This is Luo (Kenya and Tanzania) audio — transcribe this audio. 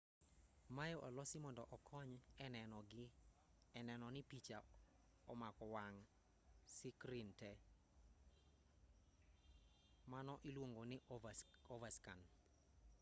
maye olosi mondo okony e neno ni picha omako wang' sikrin tee mano iluongo ni overscan